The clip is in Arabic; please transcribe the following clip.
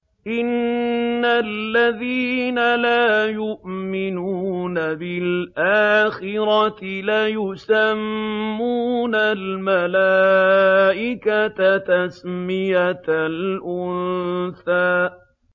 إِنَّ الَّذِينَ لَا يُؤْمِنُونَ بِالْآخِرَةِ لَيُسَمُّونَ الْمَلَائِكَةَ تَسْمِيَةَ الْأُنثَىٰ